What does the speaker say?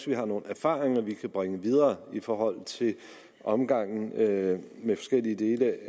vi har nogle erfaringer vi kan bringe videre i forhold til omgangen med med forskellige dele